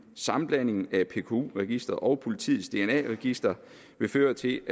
sammenblandingen af pku registeret og politiets dna register vil føre til